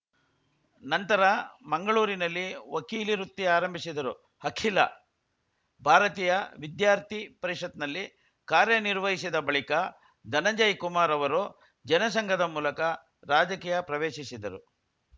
ನಂತರ ಮಂಗಳೂರಿನಲ್ಲಿ ವಕೀಲಿ ವೃತ್ತಿ ಆರಂಭಿಸಿದರು ಅಖಿಲ ಭಾರತೀಯ ವಿದ್ಯಾರ್ಥಿ ಪರಿಷತ್‌ನಲ್ಲಿ ಕಾರ್ಯನಿರ್ವಹಿಸಿದ ಬಳಿಕ ಧನಂಜಯ ಕುಮಾರ್‌ ಅವರು ಜನಸಂಘದ ಮೂಲಕ ರಾಜಕೀಯ ಪ್ರವೇಶಿಸಿದರು